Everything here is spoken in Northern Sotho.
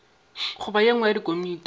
goba ye nngwe ya dikomiti